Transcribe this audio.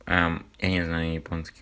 а я не знаю японский